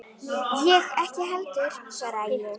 Ég ekki heldur, svaraði ég.